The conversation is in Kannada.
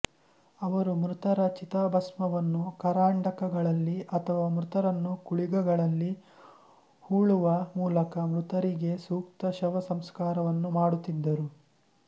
ಅವರು ಮೃತರ ಚಿತಾಭಸ್ಮವನ್ನು ಕರಂಡಕಗಳಲ್ಲಿ ಅಥವಾ ಮೃತರನ್ನು ಕುಳಿಗಳಲ್ಲಿ ಹೂಳುವ ಮೂಲಕ ಮೃತರಿಗೆ ಸೂಕ್ತ ಶವಸಂಸ್ಕಾರವನ್ನು ಮಾಡುತ್ತಿದ್ದರು